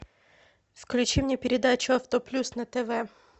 включи мне передачу авто плюс на тв